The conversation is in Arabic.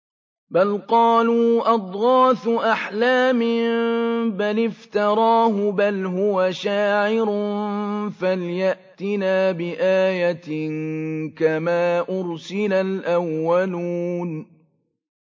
بَلْ قَالُوا أَضْغَاثُ أَحْلَامٍ بَلِ افْتَرَاهُ بَلْ هُوَ شَاعِرٌ فَلْيَأْتِنَا بِآيَةٍ كَمَا أُرْسِلَ الْأَوَّلُونَ